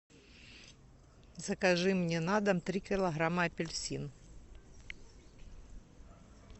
закажи мне на дом три килограмма апельсин